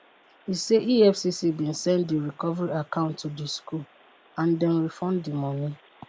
e say efcc bin send di recovery account to di school and dem refund di money.